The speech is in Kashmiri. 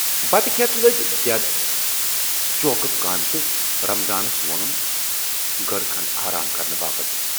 بتہٕ کھٮ۪تھ لٔج دٮ۪د چوکہٕ کامہِ تہٕ رمضانس وونُن گٔر کھنڈ آرام کرنہٕ باپتھ۔